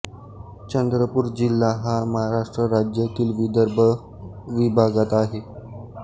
चंद्रपूर जिल्हा हा महाराष्ट्र राज्यातील विदर्भ विभागात आहे